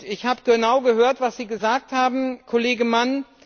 Ich habe genau gehört, was Sie gesagt haben, Kollege Mann.